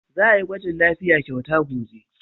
Za a yi gwajin lafiya kyauta gobe.